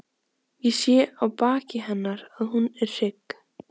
Ég sé á baki hennar að hún er hrygg.